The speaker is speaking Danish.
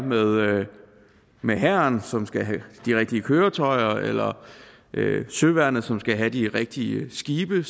med hæren som skal have de rigtige køretøjer eller søværnet som skal have de rigtige skibe